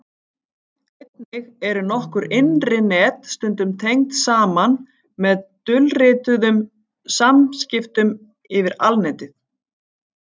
Einnig eru nokkur innri net stundum tengd saman með dulrituðum samskiptum yfir Alnetið.